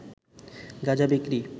গাঁজা বিক্রি